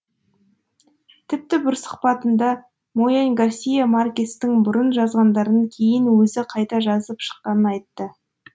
тіпті бір сұхбатында мо янь гарсия маркестің бұрын жазғандарын кейін өзі қайта жазып шыққанын айтты